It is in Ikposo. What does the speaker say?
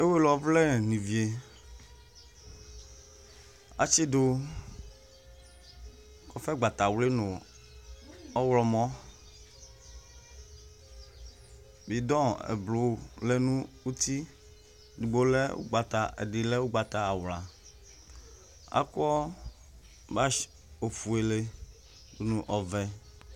ewele ɔvlɛ ni vie, atsidu kɔfɛ gbata wli nu ɔwlɔmɔ, bidon ɛblu lɛ n'uti , edigbo lɛ ugbata, ɛdi lɛ ugbata awla, akɔ bash ofuele du nu ɔvɛ